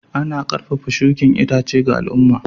Ana karfafa shukin itace ga al'umma.